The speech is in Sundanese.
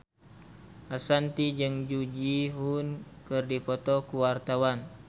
Ashanti jeung Jung Ji Hoon keur dipoto ku wartawan